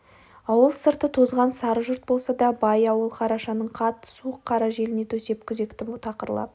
ауыл сырты тозған сары жұрт болса да бай ауыл қарашаның қатты суық қара желіне төсеп күзеқті тақырлап